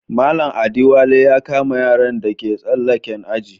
Mallam Adewale ya kama yaran da ke tsalaken aji.